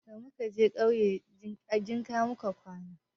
Da muka je ƙauye,a jinka muka kwana.